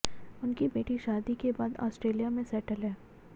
उनकी बेटी शादी के बाद ऑस्ट्रेलिया में सेटल है